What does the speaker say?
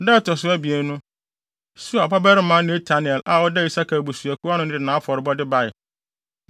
Da a ɛto so abien no, Suar babarima Netanel a ɔda Isakar abusuakuw ano no de nʼafɔrebɔde bae.